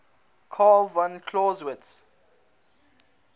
carl von clausewitz